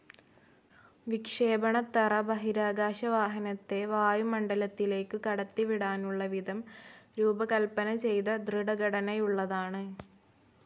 വിക്ഷേപണത്തറ ബഹിരാകാശവാഹനത്തെ വായുമണ്ഡലത്തിലേയ്ക്കു കടത്തിവിടാനുള്ള വിധം രൂപകൽപ്പനചെയ്ത ദൃഡഘടനയുള്ളതാണ്.